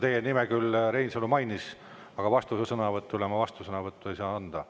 Teie nime küll Reinsalu mainis, aga vastusõnavõtule ma vastusõnavõttu ei saa anda.